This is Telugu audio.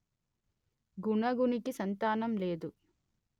గుణగునికి సంతానం లేదు